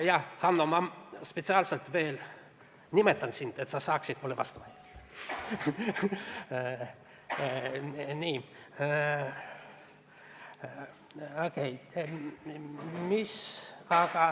Jah, Hanno, ma spetsiaalselt nimetan sind, et sa saaksid mulle vastu vaielda.